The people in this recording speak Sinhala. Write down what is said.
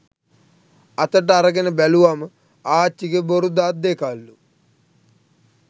අතට අරගෙන බැලුවම ආච්චිගෙ බොරු දත් දෙකක්ලු